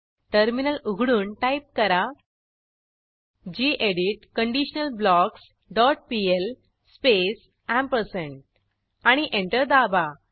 terminal उघडून type करा गेडीत कंडिशनलब्लॉक्स डॉट पीएल स्पेस आणि एंटर दाबा